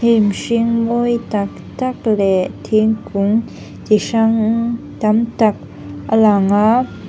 hnim hring mawi tak tak leh thingkung chi hrang tam tak a lang a--